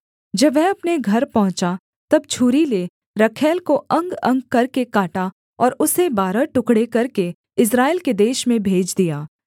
जब वह अपने घर पहुँचा तब छूरी ले रखैल को अंगअंग करके काटा और उसे बारह टुकड़े करके इस्राएल के देश में भेज दिया